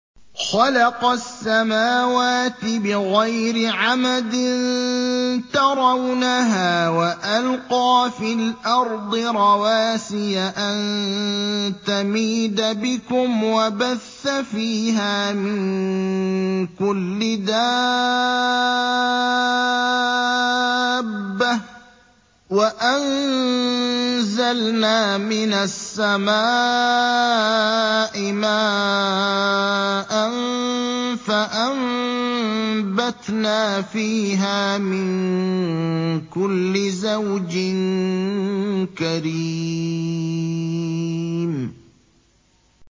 خَلَقَ السَّمَاوَاتِ بِغَيْرِ عَمَدٍ تَرَوْنَهَا ۖ وَأَلْقَىٰ فِي الْأَرْضِ رَوَاسِيَ أَن تَمِيدَ بِكُمْ وَبَثَّ فِيهَا مِن كُلِّ دَابَّةٍ ۚ وَأَنزَلْنَا مِنَ السَّمَاءِ مَاءً فَأَنبَتْنَا فِيهَا مِن كُلِّ زَوْجٍ كَرِيمٍ